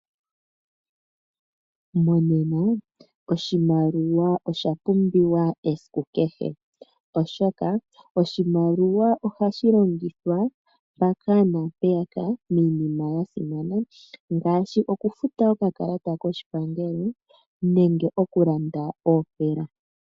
Monena oshimaliwa osha pumbiwa esiku kehe, oshoka oshimaliwa oha shi longithwa mpaka naampeyaka, miinima ya simana, ngaashi okufuta okakalata koshipangelo nenge oku landa oopela.